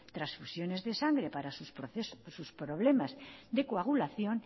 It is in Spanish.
transfusiones de sangre para sus problemas de coagulación